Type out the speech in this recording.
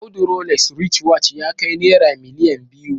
Audu Rolex writchwatch ya kai naira miliyan biyu